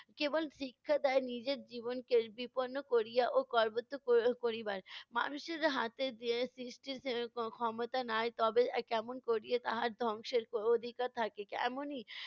কেবল শিক্ষা দেয় নিজের জীবনকে বিপন্ন করিয়া ও কর্বত ক~ করিবার। মানুষের হাতে যে সৃষ্টির এর খ~ ক্ষমতা নাই তবে কেমন করিয়ে তাহার ধ্বংসের অধিকার থাকে। এমনি,